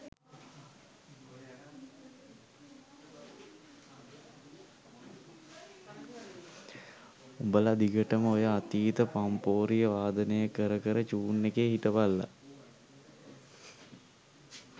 උඹල දිගටම ඔය අතීත පම්පෝරිය වාදනය කර කර චූන් එකේ හිටපල්ලා